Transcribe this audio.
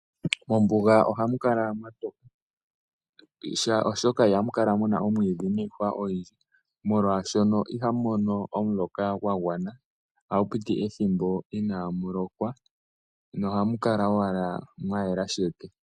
Mombuga ohamu kala mwatoka oshoka ihamu kala muna iihwa nomwiidhi ogundji molwaashono ihamu mono omuloka gwa gwana ohapu piti ethimbo inamu lokwa nohamu kala owala mwayela sheke.